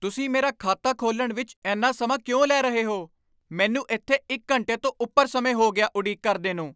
ਤੁਸੀਂ ਮੇਰਾ ਖਾਤਾ ਖੋਲ੍ਹਣ ਵਿੱਚ ਇੰਨਾ ਸਮਾਂ ਕਿਉਂ ਲੈ ਰਹੇ ਹੋ? ਮੈਨੂੰ ਇੱਥੇ ਇੱਕ ਘੰਟੇ ਤੋਂ ਉੱਪਰ ਸਮੇਂ ਹੋ ਗਿਆ ਉਡੀਕ ਕਰਦੇ ਨੂੰ!